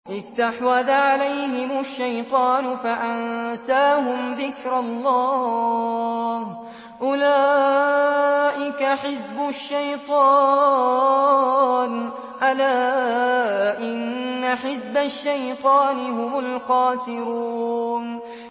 اسْتَحْوَذَ عَلَيْهِمُ الشَّيْطَانُ فَأَنسَاهُمْ ذِكْرَ اللَّهِ ۚ أُولَٰئِكَ حِزْبُ الشَّيْطَانِ ۚ أَلَا إِنَّ حِزْبَ الشَّيْطَانِ هُمُ الْخَاسِرُونَ